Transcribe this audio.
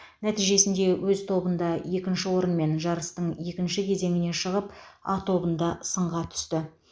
нәтижесінде өз тобында екінші орынмен жарыстың екінші кезеңіне шығып а тобында сынға түсті